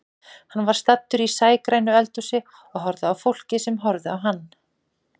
Hann var staddur í sægrænu eldhúsi og horfði á fólkið sem horfði á hann.